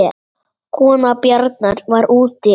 Kona Bjarnar var úti en